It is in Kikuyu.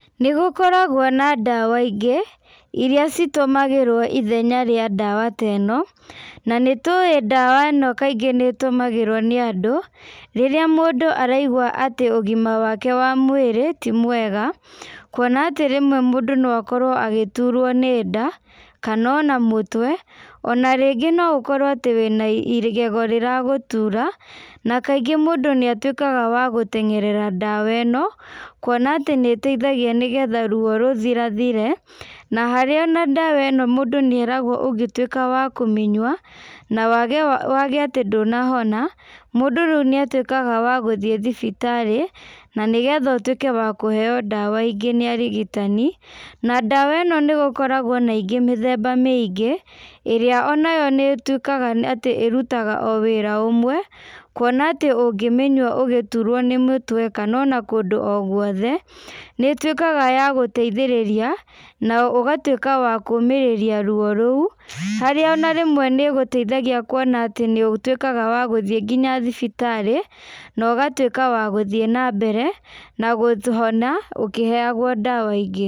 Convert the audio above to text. Nĩgũkoragwo na ndawa ingĩ, iria citũmagĩrwo ithenya rĩa ndawa ta ĩno, nanĩtuĩ ndawa ĩno kaingĩ nĩtũmagĩrwo nĩ andũ, rĩrĩa mũndũ araigua atĩ ũgima wake wa mwĩrĩ, ti mwega, kuona atĩ rĩmwe mũndũ no akorwo agĩturwo nĩ nda, kana ona mũtwe, ona rĩngĩ no ũkorwo atĩ wĩna igego rĩra gũtura, na kaingĩ mũndũ nĩatuĩkaga wa gũtengerera ndawa ĩno, kuona atĩ nĩteithagia nĩgetha ruo rũthira thire, na harĩa ona ndawa ĩno mũndũ nĩeragwo ũngĩtuĩka wa kũmĩnyua, na wage wage atĩ ndũnahona, mũndũ rĩũ nĩatuĩkaga wa gũthiĩ thibitarĩ, na nĩgetha ũtuĩke wa kũheo ndawa ingĩ nĩ arigitani, na ndawa ĩno nĩgũkoragwo na ingĩ mĩthemba mĩingĩ, ĩrĩa onayo nĩtuĩkaga atĩ ĩrutaga o wĩra ũmwe, kuona atĩ ũngĩmĩnyua ũgĩturwo nĩ mũtwe kana ona kũndũ o guothe, nĩtuĩkaga ya gũteithĩrĩria, na ũgatuĩka wa kũmĩrĩria ruo rũu, harĩa ona rĩmwe nĩgũteithagia kuona atĩ nĩũtukĩaga wa gũthiĩ nginya thibitarĩ, na ũgatuĩka wa gũthĩ nambere na kũhona ũkĩheagwo ndawa ingĩ.